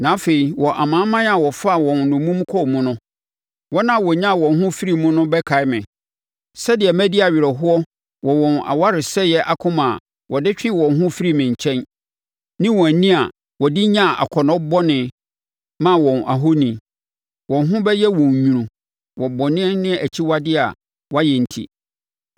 Na afei wɔ amanaman a wɔfaa wɔn nnommum kɔɔ mu no, wɔn a wɔnyaa wɔn ho firii mu no bɛkae me, sɛdeɛ madi awerɛhoɔ wɔ wɔn awaresɛeɛ akoma a wɔde twee wɔn ho firii me nkyɛn, ne wɔn ani a wɔde nyaa akɔnnɔ bɔne maa wɔn ahoni. Wɔn ho bɛyɛ wɔn nwunu wɔ bɔne ne akyiwadeɛ a wɔayɛ enti.